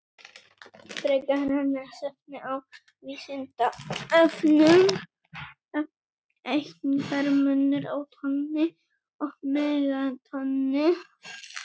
Frekara lesefni á Vísindavefnum: Er einhver munur á tonni og megatonni?